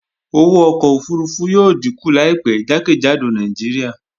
Owó ọkọ̀ òfurufú yóò díkù láìpẹ́ jákèjádò Nàìjíríà